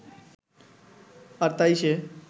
আর তাই সে